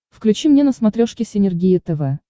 включи мне на смотрешке синергия тв